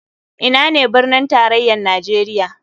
Ina ne birnin tarayar nijeria?